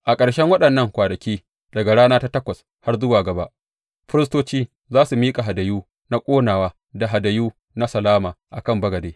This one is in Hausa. A ƙarshen waɗannan kwanaki, daga rana ta takwas zuwa gaba, firistoci za su miƙa hadayu na ƙonawa da hadayu na salama a kan bagade.